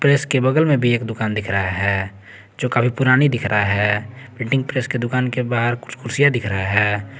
Press के बगल में भी एक दुकान दिख रहा है जो काफी पुरानी दिख रहा है प्रिंटिंग प्रेस के दुकान के बाहर कुछ कुर्सियां दिख रहा है।